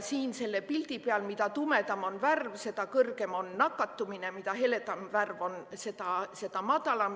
Siin selle pildi peal, mida tumedam on värv, seda kõrgem on nakatumine, mida heledam on värv, seda madalam.